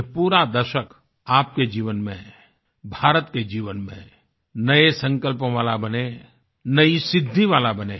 यह पूरा दशक आपके जीवन में भारत के जीवन में नए संकल्पों वाला बने नई सिद्धि वाला बने